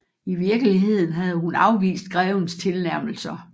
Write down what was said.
I virkeligheden havde hun afvist grevens tilnærmelser